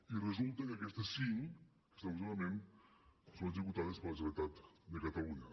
i resulta que aquestes cinc que estan en funcionament són executades per la generalitat de catalunya